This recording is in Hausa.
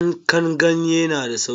Yanka ganye na da sauki.